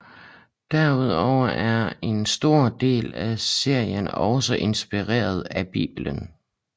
Derudover er en stor del af serien også inspireret af Bibelen